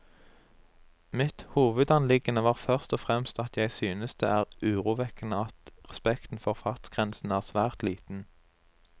Mitt hovedanliggende var først og fremst at jeg synes det er urovekkende at respekten for fartsgrensene er svært liten.